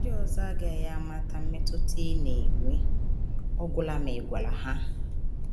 Ndị ọzọ agaghị amata mmetụta ị na - enwe ọ gwụla ma ị gwara ha.